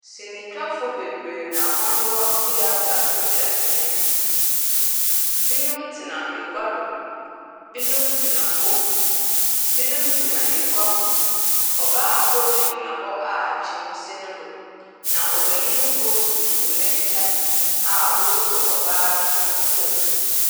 Sinitwafo bebree wɔwɔ theatre rutwa sini, binom tsena egua do, binom tsena famu, binom gyina egua hɔ, ɔbaa kor gyina hɔ a kyim si no do, na ɔbanyin kor gyina hɔ a woesuo ɔbaa no nsɛm.